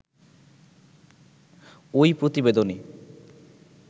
ঐ প্রতিবেদনে